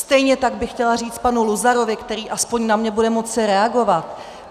Stejně tak bych chtěla říct panu Luzarovi, který aspoň na mě bude moci reagovat.